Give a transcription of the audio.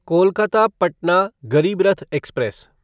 Kolkata Patna Garib Rath express